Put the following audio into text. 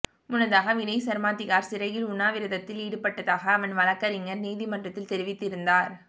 முன்னதாக வினய் சர்மா திஹார் சிறையில் உண்ணாவிரதத்தில் ஈடுபட்டதாக அவன் வழக்கறிஞர் நீதிமன்றத்தில் தெரிவித்திருந்தார்